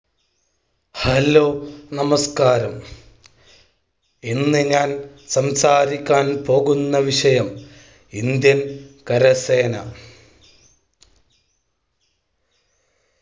Hello നമസ്ക്കാരം ഇന്ന് ഞാൻ സംസാരിക്കാൻ പോകുന്ന വിഷയം Indian കരസേന.